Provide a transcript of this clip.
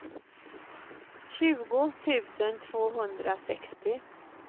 tjugo tusen tvåhundrasextio